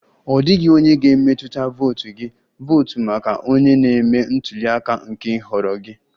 Ọ dịghị onye ga-emetụta votu gị, votu maka onye na-eme ntuli aka nke nhọrọ gị!